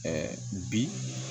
bi